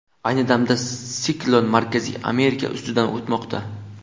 Ayni damda siklon Markaziy Amerika ustidan o‘tmoqda.